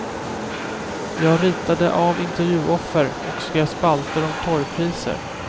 Jag ritade av intervjuoffer och skrev spalter om torgpriser.